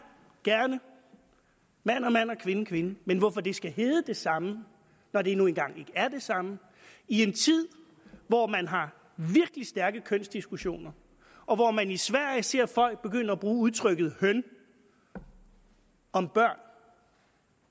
gerne mand og mand og kvinde og kvinde men hvorfor det skal hedde det samme når det nu engang ikke er det samme i en tid hvor man har virkelig stærke kønsdiskussioner og hvor man i sverige ser folk begynde at bruge udtrykket høn om børn